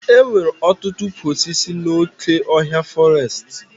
E nwere ọtụtụ ụkwụ osisi n'oké ọhịa fọrestị